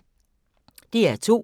DR2